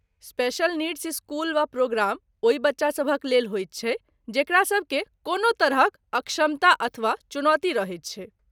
Special needs school वा program ओहि बच्चा सभक लेल होइत छै जेकरा सभकेँ कोनो तरहक अक्षमता अथवा चुनौती रहैत छै।